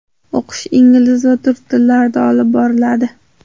O‘qish ingliz va turk tillarida olib boriladi.